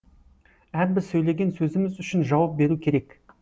әрбір сөйлеген сөзіміз үшін жауап беру керек